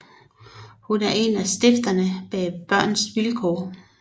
Hun er en af stifterne bag Børns Vilkår